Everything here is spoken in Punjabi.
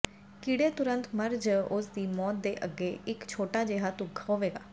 ਕੀੜੇ ਤੁਰੰਤ ਮਰ ਜ ਉਸ ਦੀ ਮੌਤ ਦੇ ਅੱਗੇ ਇੱਕ ਛੋਟਾ ਜਿਹਾ ਦੁੱਖ ਹੋਵੇਗਾ